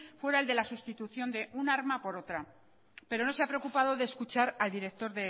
fuera el de la sustitución de un arma por otra pero no se ha preocupado de escuchar al director